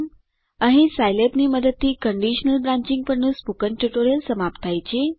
અહીં સાઈલેબની મદદથી કન્ડીશનલ બ્રાન્ચિંગ પરનું સ્પોકન ટ્યુટોરીયલ સમાપ્ત થાય છે